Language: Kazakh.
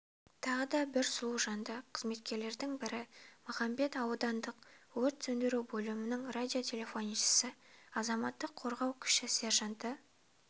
тағы да бір сұлу жанды қызметкерлердің бірі махамбет аудандықөрт сөндіру бөлімінің радиотелефоншысы азаматтық қорғау кіші сержанты